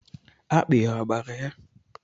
Akpị a gbara ya?